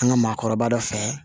An ka maakɔrɔba dɔ fɛ